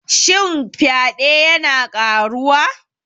Shin fyade yana ƙaruwa?